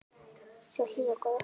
Svo hlý og góð.